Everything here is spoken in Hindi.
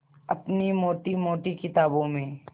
अपनी मोटी मोटी किताबों में